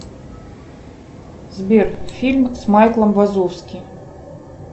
сбер фильм с майком вазовски